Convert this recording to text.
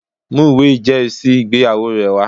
Mú ìwé ìjẹ́rìísí ìgbéyàwó rẹ wá!